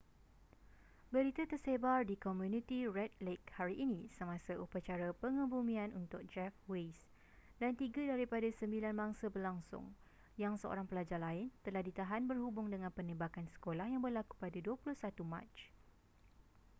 berita tersebar di komuniti red lake hari ini semasa upacara pengebumian untuk jeff weise dan tiga daripada sembilan mangsa berlangsung yang seorang pelajar lain telah ditahan berhubung dengan penembakan sekolah yang berlaku pada 21 mac